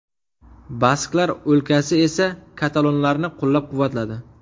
Basklar o‘lkasi esa katalonlarni qo‘llab-quvvatladi.